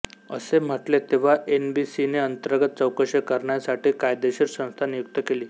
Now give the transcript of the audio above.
असे म्हटले तेव्हा एनबीसीने अंतर्गत चौकशी करण्यासाठी कायदेशीर संस्था नियुक्त केली